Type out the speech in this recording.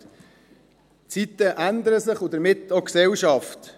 Die Zeiten ändern sich und damit auch die Gesellschaft.